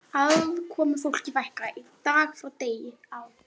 Aðkomufólki fækkaði dag frá degi á